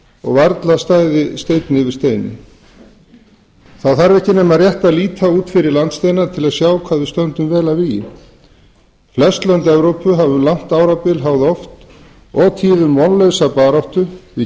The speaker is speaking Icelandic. og að varla stæði steinn yfir steini það þarf ekki nema að líta rétt út fyrir landsteinana til að sjá hvað við stöndum vel að vígi flest lönd evrópu hafa um langt árabil háð oft og tíðum vonlausa baráttu við